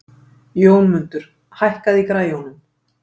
Jómundur, hækkaðu í græjunum.